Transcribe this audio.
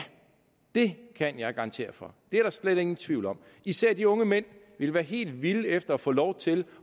det kan jeg garantere for det er der slet ingen tvivl om især de unge mænd ville være helt vilde efter at få lov til